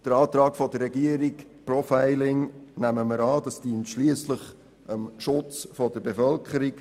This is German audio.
Den Antrag der Regierung in Zusammenhang mit dem Profiling nehmen wir an, denn er dient schliesslich dem Schutz der Bevölkerung.